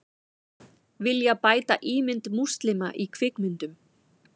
Vilja bæta ímynd múslima í kvikmyndum